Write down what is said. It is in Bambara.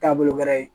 Taabolo wɛrɛ ye